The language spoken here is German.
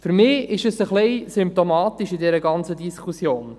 Für mich ist dies ein wenig symptomatisch in dieser ganzen Diskussion.